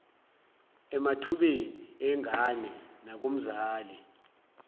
emathubeni engane nakumzali